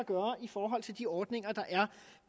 forhold til de ordninger der er